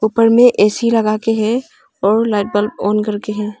ऊपर में ए_सी लगा के है और लाइट बल्ब ऑन करके है।